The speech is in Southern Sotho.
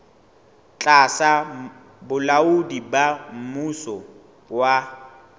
tlasa bolaodi ba mmuso wa